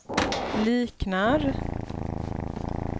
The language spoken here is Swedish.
liknar